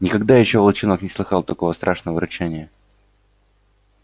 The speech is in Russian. никогда ещё волчонок не слыхал такого страшного рычания